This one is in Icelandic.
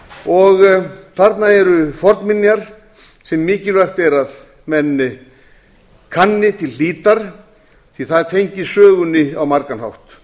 eyja þarna eru fornminjar sem mikilvægt er að menn kanni til hlítar því það tengist sögunni á margan hátt